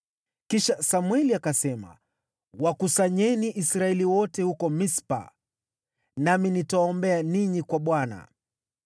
Kisha Samweli akasema, “Wakusanyeni Israeli wote huko Mispa, nami nitawaombea ninyi kwa Bwana .”